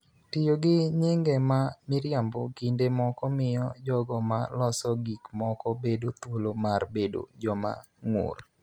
Tiyo gi nyinge ma miriambo kinde moko miyo jogo ma loso gik moko bedo thuolo mar bedo joma ng�ur